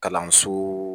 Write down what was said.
Kalanso